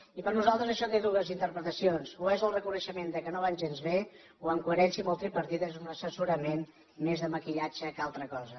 i per nosaltres això té dues interpretacions o és el reconeixement que no van gens bé o en coherència amb el tripartit és un assessorament més de maquillatge que altra cosa